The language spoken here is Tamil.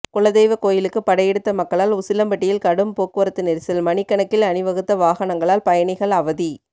குலதெய்வ கோயிலுக்கு படையெடுத்த மக்களால் உசிலம்பட்டியில் கடும் போக்குவரத்து நெரிசல் மணிக்கணக்கில் அணி வகுத்த வாகனங்களால் பயணிகள் அவதி